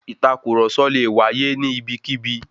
Ìtàkurọ̀sọ lè wáyé ní ibikíbi.